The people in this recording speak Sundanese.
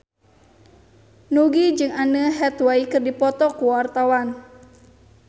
Nugie jeung Anne Hathaway keur dipoto ku wartawan